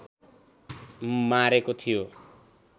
मारेको थियो